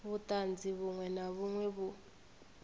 vhuṱanzi vhuṅwe na vhuṅwe vhu